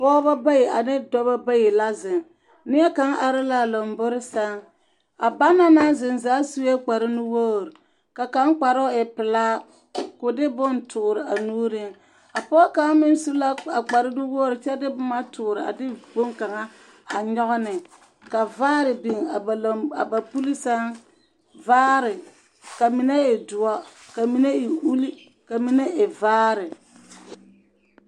Pɔgeba bayi ane dɔba la zeŋ. Neɛkaŋ are la a lombori sɛŋ. A banaŋ naŋ zeŋ zaa sue kparenuwogri, ka kaŋ kparoo e pelaa, ko de bone toore a nuuriŋ. A pɔge kaŋ meŋ su la a kparenuwogri kyɛ de boma toore a de boŋkaŋa a nyɔge ne, ka vaare biŋ a ba lamb a ba puli sɛŋ, vaare , ka mine e doɔ, ka mine e uli, ka mine e vaare.